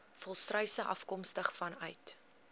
volstruise afkomstig vanuit